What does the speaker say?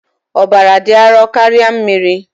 Ọbara dị arọ karịa mmiri.